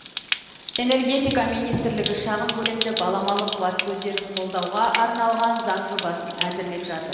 энергетика министрлігі шағын көлемді баламалы қуат көздерін қолдауға арналған заң жобасын әзірлеп жатыр